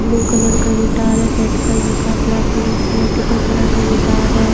Blue colour का guitar है red colour का ब्लॅक कलर मल्टीपल कलर का गिटार है।